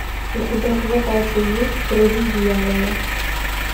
у тебя в запасе есть круги дьявола